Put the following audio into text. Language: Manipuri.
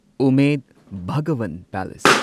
ꯎꯃꯦꯗ ꯚꯒꯋꯟ ꯄꯦꯂꯦꯁ